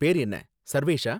பேரு என்ன? சர்வேஷா?